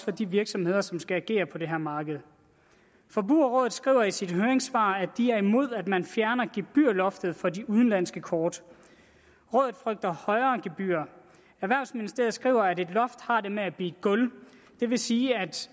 de virksomheder som skal agere på det her marked forbrugerrådet skriver i sit høringssvar at de er imod at man fjerner gebyrloftet for de udenlandske kort rådet frygter højere gebyrer erhvervsministeriet skriver at et loft har det med at blive et gulv det vil sige at